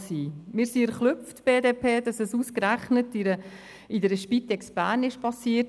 Wir von der BDP sind erschrocken, dass es ausgerechnet in der Spitex Bern geschah.